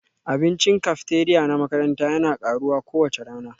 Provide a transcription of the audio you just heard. Abincin cafeteria na makaranta yana karuwa kowace rana